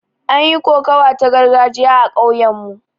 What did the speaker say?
An yi kokawa ta gargajiya a kauyen mu